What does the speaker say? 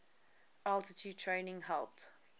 altitude training helped